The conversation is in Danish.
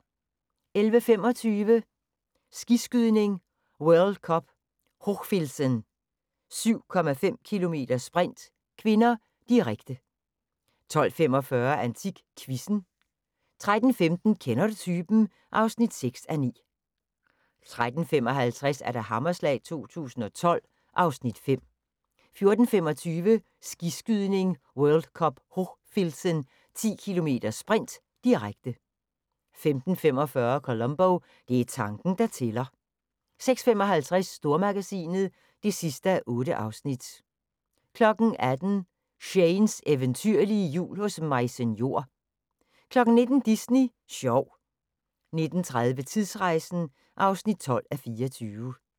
11:25: Skiskydning: World Cup Hochfilzen - 7,5 km sprint (k), direkte 12:45: AntikQuizzen 13:15: Kender du typen? (6:9) 13:55: Hammerslag 2012 (Afs. 5) 14:25: Skiskydning: World Cup Hochfilzen - 10 km sprint, direkte 15:45: Columbo: Det er tanken, der tæller 16:55: Stormagasinet (8:8) 18:00: Shanes eventyrlige jul hos Maise Njor 19:00: Disney sjov 19:30: Tidsrejsen (12:24)